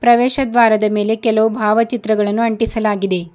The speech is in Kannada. ಪ್ರವೇಶ ದ್ವಾರದ ಮೇಲೆ ಕೆಲವು ಭಾವಚಿತ್ರಗಳನ್ನು ಅಂಟಿಸಲಾಗಿದೆ.